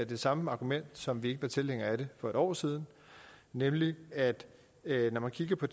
det samme argument som da vi ikke var tilhængere af det for et år siden nemlig at når man kigger på